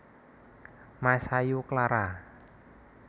Masayu Clara